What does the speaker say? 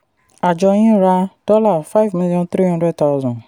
àjọ yín ra dollar five million three hundred thousand.